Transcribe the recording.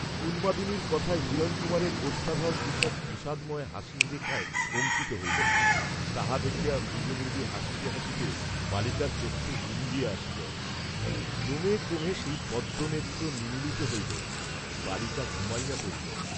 উন্মাদিনীর কথায় হিরণকুমারের ওষ্ঠাধর ঈষৎ বিষাদময় হাসির রেখায় অঙ্কিত হইল, তাহা দেখিয়া মৃদু মৃদু হাসিতে হাসিতে বালিকার চক্ষু বুঞ্জিয়া আসিল, ক্রমে ক্রমে সেই পদ্মনেত্র নিমীলিত হইল, বালিকা ঘুমাইয়া পড়িল।